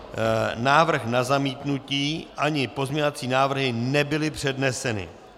Návrh na zamítnutí ani pozměňovací návrhy nebyly předneseny.